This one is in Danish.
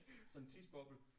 Sådan en tidsboble